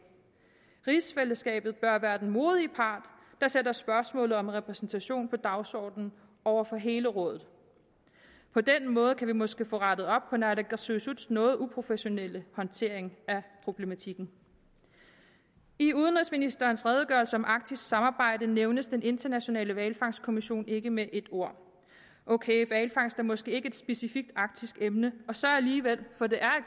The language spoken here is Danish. rigsfællesskabet bør være den modige part det sætter spørgsmålet om repræsentation på dagsordenen over for hele rådet på den måde kan vi måske få rettet op naalakkersuisuts noget uprofessionelle håndtering af problematikken i udenrigsministerens redegørelse om arktisk samarbejde nævnes den internationale hvalfangstkommission ikke med et ord ok hvalfangst er måske ikke et specifikt arktisk emne og så alligevel for det er